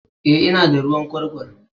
Eh, ina da ruwan kurkur